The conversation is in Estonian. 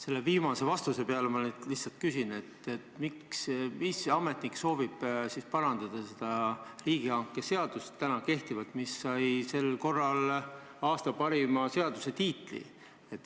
Selle viimase vastuse peale ma lihtsalt küsin, et miks soovib ametnik parandada täna kehtivat riigihangete seadust, mis sai kunagi aasta parima seaduse tiitli.